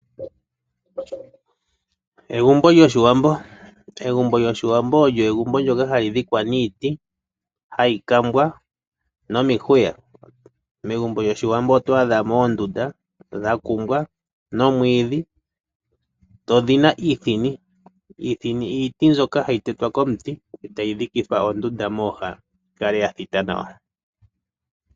Egumbo lyOshiwambo olyo egumbo ndyoka hali dhikwa niiti hayi kambwa nomihuya. Megumbo lyOshiwambo oto adha mo oondunda dha kumbwa nomwiidhi dho odhi na iithini. Iithini iiti mbyoka hayi tetwa komuti e tayi dhikithwa ondunda mooha yi kale ya thita nawa.